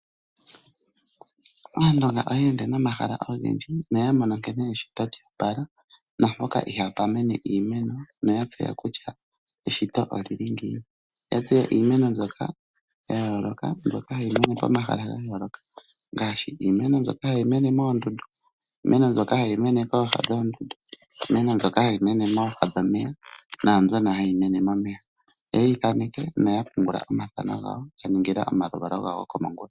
Aandonga oye ende nomahala ogendji noya mono nkene eshito lyo opala naampoka ihapu mene iimeno oya tseya kutya eshito oli li ngiini. Oya tseya iimeno mbyoka ya yooloka hayi mene pomahala ga yooloka ngaashi iimeno mbyoka hayi mene moondundu, iimeno mbyoka hayi mene kooha dhoondundu, iimeno mbyoka hayi mene kooha dhomeya naambyoka hayi mene momeya. Oye yi thaneke noya pungula omathano gayo ya ningila omaluvalo gawo gokomongula.